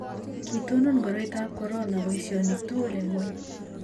kiitonon koroitab korona boisionik tugul eng' ng'ony.